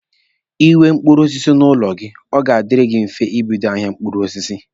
Ị nwee mkpụrụ osisi n'ụlọ gị, ọ ga-adiri gị mfe ibido ahịa mkpụrụ osisi.